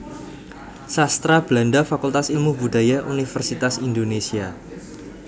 Sastra Belanda Fakultas Ilmu Budaya Universitas Indonesia